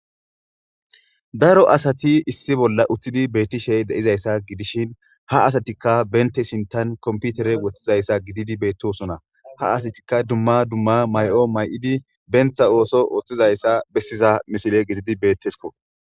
daro asati issi bolla uththidi beettishey deizayssa gidishin ha asatikka bente sintan komputere woththizayssa gididi beettosona ha asatikka dumma dumma may7o may7idi bentha ooso ooththizayssa bessiza misile gizidi beettesko